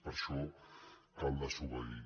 per això cal desobeir